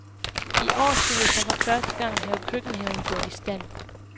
I år skulle vi så for første gang have køkkenhaven gjort i stand.